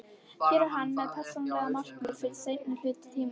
Er hann með persónuleg markmið fyrir seinni hluta tímabilsins?